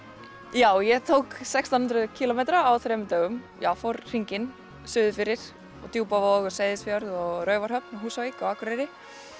já ég tók sextán hundruð kílómetra á þremur dögum fór hringinn suður fyrir á Djúpavog og Seyðisfjörð og Raufarhöfn og Húsavík og Akureyri